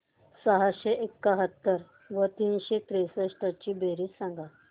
सहाशे एकाहत्तर व तीनशे त्रेसष्ट ची बेरीज सांगा